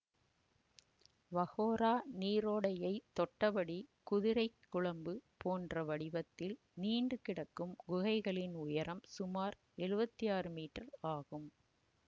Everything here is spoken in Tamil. வகோரா நீரோடையை தொட்டபடி குதிரைக்குளம்பு போன்ற வடிவத்தில் நீண்டுகிடக்கும் குகைகளின் உயரம் சுமார் எழுவத்தி ஆறு மீட்டர் ஆகும்